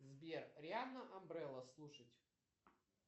сбер рианна амбрелла слушать